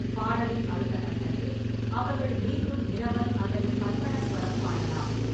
பாடலின் அடுத்த கட்டத்தில், அவர்கள் மீண்டும் நிரவல் அல்லது கற்பனஸ்வரம் பாடலாம்.